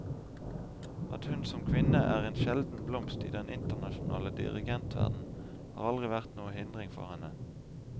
At hun som kvinne er en sjelden blomst i den internasjonale dirigentverden, har aldri vært noen hindring for henne.